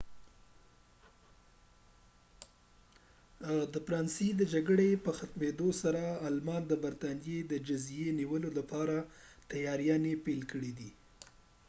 د فرانسې د جګړې په ختمیدو سره آلمان د برطانیې د جزیزې د نیولو لپاره تیاریانې پیل کړې